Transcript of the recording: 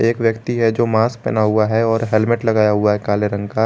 एक व्यक्ति है जो मास्क पहना हुआ है और हेलमेट लगाया हुआ है काले रंग का।